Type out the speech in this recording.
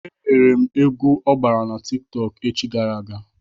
E lere m egwu ọ gbara na Tik tọk echi gara aga.